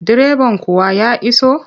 Direban kuwa ya iso?